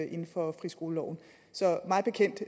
inden for friskoleloven så mig bekendt